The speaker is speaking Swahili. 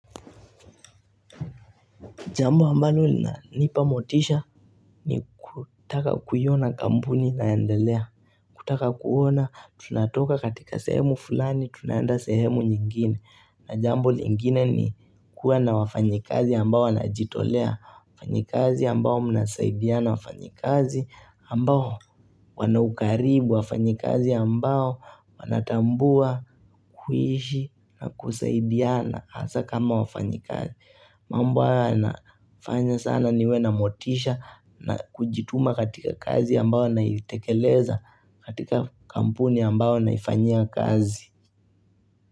Jambo ambalo linanipa motisha ni kutaka kuiona kampuni inaendelea kutaka kuona tunatoka katika sehemu fulani tunaenda sehemu nyingine na jambo lingine ni kuwa na wafanyikazi ambao wanajitolea wafanyikazi ambao mnasaidiana wafanyikazi ambao wana ukaribu wafanyikazi ambao wanatambua kuishi na kusaidiana hasa kama wafanyikazi mambo hayo yanafanya sana niwe na motisha na kujituma katika kazi ambao naitekeleza katika kampuni ambao naifanyia kazi.